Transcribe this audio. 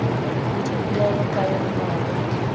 le dipelaelo ka yonamabapi le